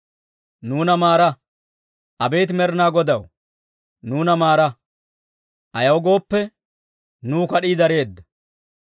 Nuuna maara; abeet Med'inaa Godaw, nuuna maara. Ayaw gooppe, nuw kad'ii dareedda.